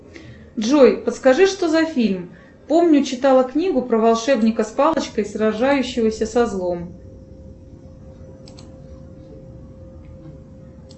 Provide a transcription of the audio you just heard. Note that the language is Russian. джой подскажи что за фильм помню читала книгу про волшебника с палочкой сражающегося со злом